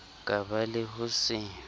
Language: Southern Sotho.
ka ba le ho se